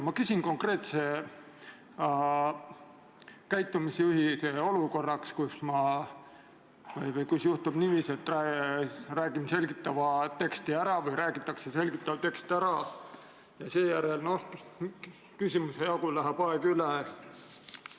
Ma küsin konkreetse käitumisjuhise olukorras, kus juhtub niiviisi, et ma räägin või keegi teine räägib selgitava teksti ära ja küsimuse esitamiseks enam aega ei jää.